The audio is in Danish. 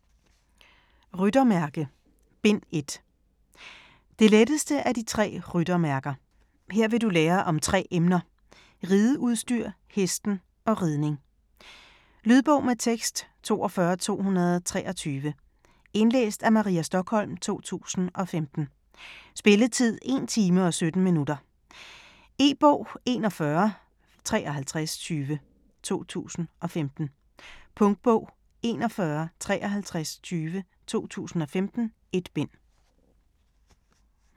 Ryttermærke: Bind 1 Det letteste af de tre ryttermærker. Her vil du lære om tre emner; rideudstyr, hesten og ridning. Lydbog med tekst 42223 Indlæst af Maria Stokholm, 2015. Spilletid: 1 time, 17 minutter. E-bog 715320 2015. Punktbog 415320 2015. 1 bind.